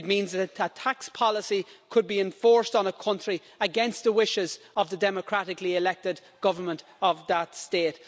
It means that a tax policy could be enforced on a country against the wishes of the democratically elected government of that state.